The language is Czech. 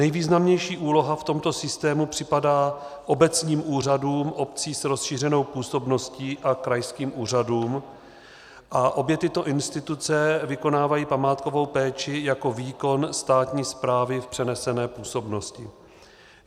Nejvýznamnější úloha v tomto systému připadá obecním úřadům obcí s rozšířenou působností a krajským úřadům a obě tyto instituce vykonávají památkovou péči jako výkon státní správy v přenesené působnosti.